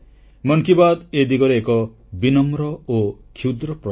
ମନ କି ବାତ୍ ଏ ଦିଗରେ ଏକ ବିନମ୍ର ଓ କ୍ଷୁଦ୍ର ପ୍ରୟାସ